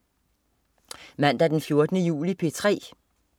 Mandag den 14. juli - P3: